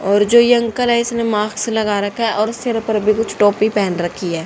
और जो ये अंकल है इसने माक्स लगा रखा है और सिर पर भी कुछ टोपी पहन रखी है।